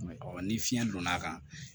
Ɔ ni fiɲɛ donna a kan